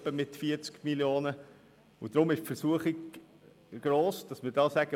Deshalb ist die Versuchung gross hier zu sagen: